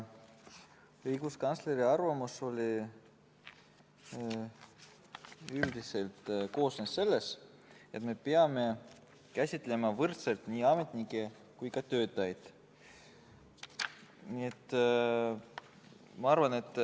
Õiguskantsleri arvamus koosnes sellest, et me peame käsitlema võrdselt nii ametnikke kui ka töötajaid.